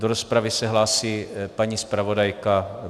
Do rozpravy se hlásí paní zpravodajka.